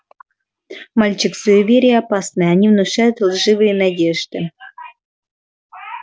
мальчик суеверия опасны они внушают лживые надежды